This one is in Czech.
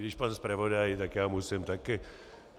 Když pan zpravodaj, tak já musím taky.